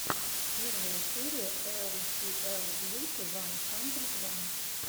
первая серия эр си эл бьюти ван хандрид ван